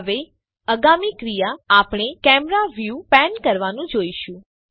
હવે આગામી ક્રિયા આપણે કેમેરા વ્યુ પેન કરવાનું જોશું